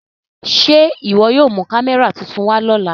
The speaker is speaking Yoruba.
Ṣe iwọ yóò mu kamẹra tuntun wa lọla?